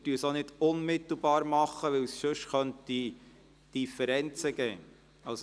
Zudem tun wir dies auch nicht unmittelbar, weil es sonst Differenzen geben könnte.